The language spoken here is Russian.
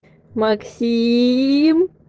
максим